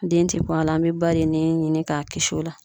Den te bɔ a la an be ba den nin ɲini k'a kisi o la